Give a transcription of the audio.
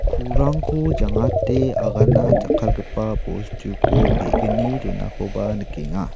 ku·rangko jangate agana jakkalgipa bostuko ge·gni donakoba nikenga.